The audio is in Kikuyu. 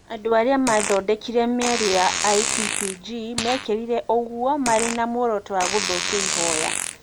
Andũ arĩa maathondekire mĩario ya IPPG mekire ũguo marĩ na muoroto wa gũthokia ihoya ,